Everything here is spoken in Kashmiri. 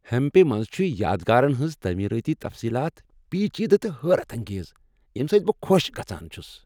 ہمپی منٛز چھ یادگارن ہنٛز تٲمیرٲتی تفصیلات پیچیدٕ تہٕ حیرت انگیز، ییٚمہ سۭتۍ بہٕ خوش گژھان چُھس ۔